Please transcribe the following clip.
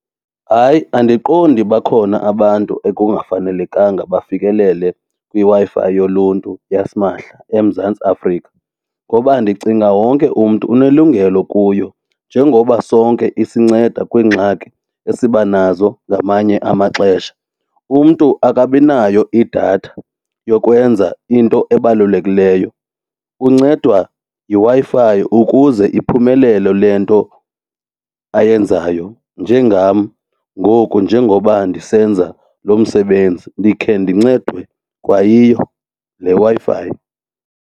Hayi, andiqondi bakhona abantu ekungafanelekanga bafikelele kwiWi-Fi yoluntu yasimahla eMzantsi Afrika ngoba ndicinga wonke umntu unelungelo kuyo njengoba sonke isinceda kwiingxaki esibanazo ngamanye amaxesha. Umntu akabinayo idatha yokwenza into ebalulekileyo, kuncedwa yiWi-Fi ukuze iphumelele le nto ayenzayo njengam ngoku njengoba ndisenza loo msebenzi ndikhe ndincedwe kwayiyo le Wi-Fi.